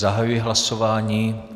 Zahajuji hlasování.